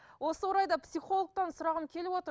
осы орайда психологтан сұрағым келіп отыр